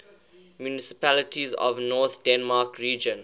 municipalities of north denmark region